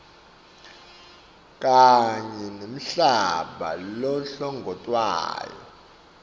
kanye nemhlaba lohlongotwako